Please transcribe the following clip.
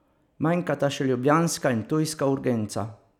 Manjkata še ljubljanska in ptujska urgenca.